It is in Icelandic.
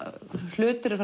hlutir eru